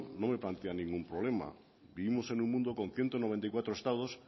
no me plantea ningún problema vivimos en un mundo con ciento noventa y cuatro estados